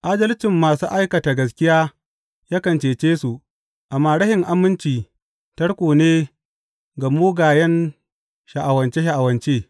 Adalcin masu aikata gaskiya kan cece su, amma rashin aminci tarko ne ga mugayen sha’awace sha’awace.